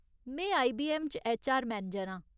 में आईबीऐम्म च HR manager आं।